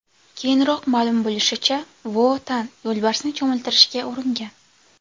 Keyinroq ma’lum bo‘lishicha, Vo Tan yo‘lbarsni cho‘miltirishga uringan.